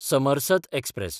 Samarasata express